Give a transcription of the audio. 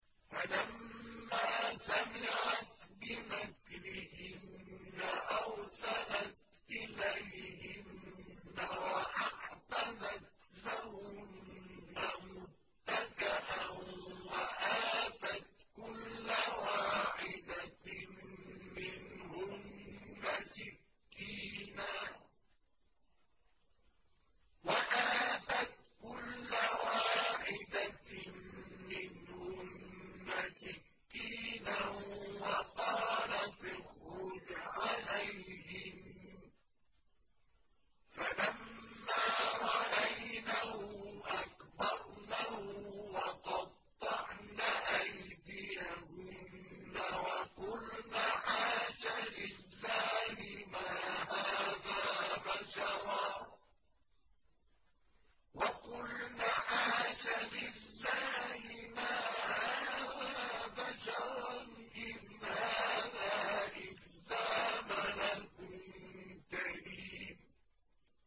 فَلَمَّا سَمِعَتْ بِمَكْرِهِنَّ أَرْسَلَتْ إِلَيْهِنَّ وَأَعْتَدَتْ لَهُنَّ مُتَّكَأً وَآتَتْ كُلَّ وَاحِدَةٍ مِّنْهُنَّ سِكِّينًا وَقَالَتِ اخْرُجْ عَلَيْهِنَّ ۖ فَلَمَّا رَأَيْنَهُ أَكْبَرْنَهُ وَقَطَّعْنَ أَيْدِيَهُنَّ وَقُلْنَ حَاشَ لِلَّهِ مَا هَٰذَا بَشَرًا إِنْ هَٰذَا إِلَّا مَلَكٌ كَرِيمٌ